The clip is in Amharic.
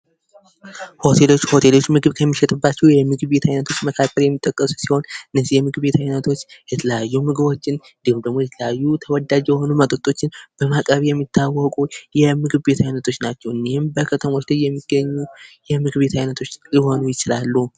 የባህል ምግብ ቤት : የኢትዮጵያን ብሔራዊ ምግቦች፣ በተለይም እንጀራና የተለያዩ ዓይነት ወጦችን፣ ጥብሶችን፣ እና ሌሎች ባህላዊ ምግቦችን በዋናነት የሚያቀርብ ቦታ ነው። አብዛኛውን ጊዜ የኢትዮጵያን ባሕል የሚያንጸባርቅ የቤት ዕቃና ጌጣጌጥ ሊኖረው ይችላል